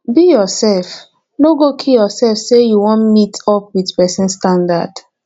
be yourself no kill yourself say you won meet up with persin standard